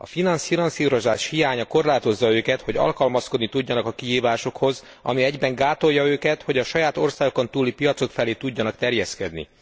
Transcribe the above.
A finanszírozás hiánya korlátozza őket, hogy alkalmazkodni tudjanak a kihívásokhoz, ami egyben gátolja őket, hogy a saját országukon túli piacok felé tudjanak terjeszkedni.